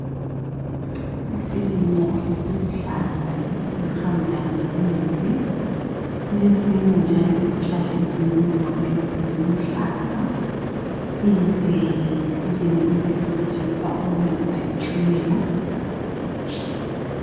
Isilimo esiluhlaza esiphosa sihambelane lemfe kulesinye njalo isihlahla esingemuva kwemfe esiluhlaza, imfe yisilimo esiyiso esisetshenziswa ukulungisa itshukela.